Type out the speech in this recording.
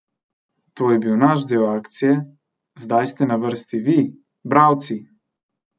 To je bil naš del akcije, zdaj ste na vrsti vi, bralci!